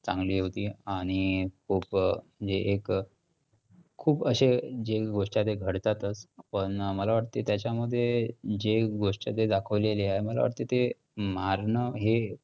चांगली होती. आणि खूप म्हणजे एक खूप अशे गोष्टी आहेत ते घडतात पण मला वाटतंय त्याच्यामध्ये जे गोष्ट ते दाखवलेली आहे मला वाटतंय ते मारणं हे